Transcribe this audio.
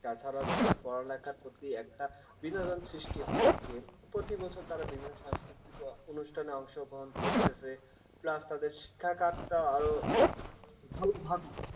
তাছাড়া তাদের পড়ালেখির প্রতি একটা বিনোদন সৃষ্টি হয় প্রতি বছর তারা বিভিন্ন সংস্কৃতিতে অনুষ্ঠানে অংশগ্রহণ করতেছে plus তাদের শিক্ষা card আর